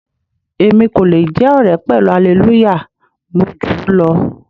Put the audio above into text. Èmi kò le jẹ́ ọ̀rẹ́ pẹ̀lú Hallelujah, mo júù lọ.